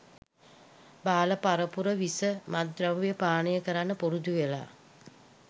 බාල පරපුර විස මත්ද්‍රව්‍ය පානය කරන්න පුරුදු වෙලා.